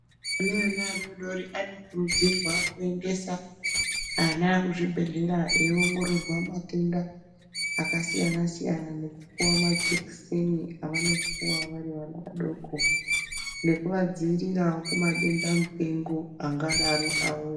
Ana mai and vana vadodori anokurudzirwa kuendesa ana kuzvibhedhlera eiongorora matenda akasiyana siyana nekuti majekiseni amweni anongo puwa Ari vana vadoko nekuvadzivirirawo kumadenda mupengo angava.